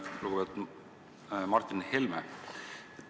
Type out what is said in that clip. Lugupeetud Martin Helme!